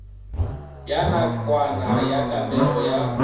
ya nakwana ya kamego ya